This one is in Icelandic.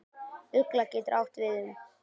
Ugla getur átt við um